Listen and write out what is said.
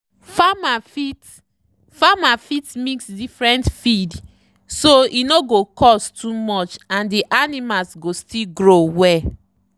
farmer fit farmer fit mix different feed so e no go cost too much and the animals go still grow well.